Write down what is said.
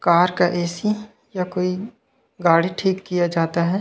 Car का A. C. या कोई गाड़ी ठीक किया जाता हे।